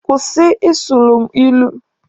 Kwụsị ị sụrụ mụ ilu!